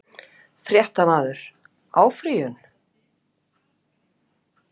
Fréttamaður: Áfrýjun?